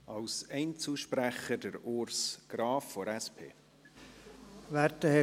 Als Einzelsprecher spricht Urs Graf von der SP.